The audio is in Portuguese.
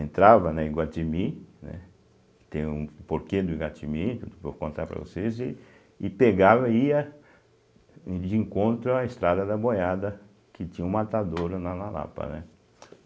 Entrava né Iguatimi, né, tem um porquê do Iguatimi, vou contar para vocês, e e pegava e ia de encontro à Estrada da Boiada, que tinha um matadouro na na Lapa, né.